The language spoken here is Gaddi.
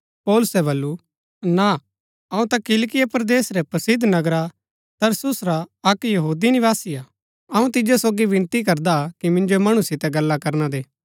पौलुसै बल्लू ना अऊँ ता किलिकिया परदेस रै प्रसिद्ध नगरा तरसुस रा अक्क यहूदी निवासी हा अऊँ तिजो सोगी विनती करदा कि मिन्जो मणु सितै गल्ला करना दे